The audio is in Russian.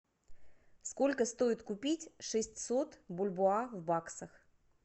сколько стоит купить шестьсот бальбоа в баксах